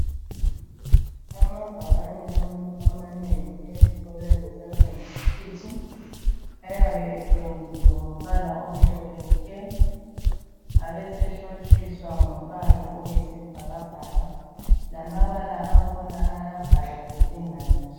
Amabhakane amanengi ezikolweni zasemayunivesithi ayabe ependiwe ngombala omhlophe nke abe sehlotshiswa ngombala oyisibhakabhaka lamabala angkhona ayabhalwa elinganiswe.